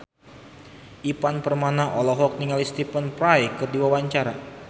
Ivan Permana olohok ningali Stephen Fry keur diwawancara